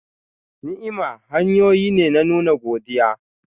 Ni'ima hanyoyi ne na nuna godiya.